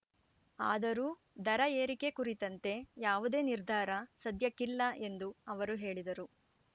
ಆದರೂ ದರ ಏರಿಕೆ ಕುರಿತಂತೆ ಯಾವುದೇ ನಿರ್ಧಾರ ಸದ್ಯಕ್ಕಿಲ್ಲ ಎಂದು ಅವರು ಹೇಳಿದರು